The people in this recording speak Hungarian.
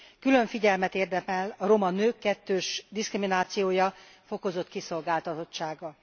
Külön figyelmet érdemel a roma nők kettős diszkriminációja, fokozott kiszolgáltatottsága.